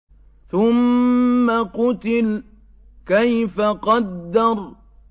ثُمَّ قُتِلَ كَيْفَ قَدَّرَ